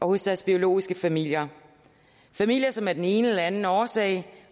hos deres biologiske familier familier som af den ene eller den anden årsag